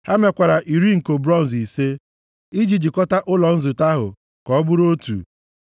Ha mekwara iri nko bronz ise, iji jikọta ụlọ nzute ahụ ka ọ bụrụ otu.